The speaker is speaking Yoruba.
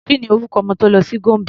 Ki ni orúkọ ọmọ tó lọ sí Gombe?